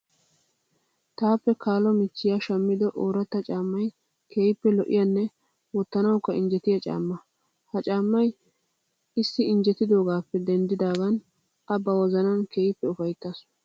Taappe kaalo michchiya shammido ooratta caammayi keehippe lo'iyanne wottanawukka injjetiya caamma. Ha caammayi issi injjetidoogaappe denddidaagan a ba wozanan keehippe ufayittaasu.